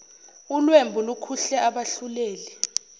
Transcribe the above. ulwembu lukhuhle abahluleli